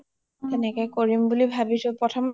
তেনেকে কৰিম বুলি ভাবিছো